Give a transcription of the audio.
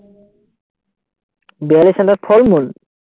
বিহালী চেন্টাৰত ফল-মূল